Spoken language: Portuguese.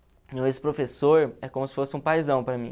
Então esse professor é como se fosse um paizão para mim.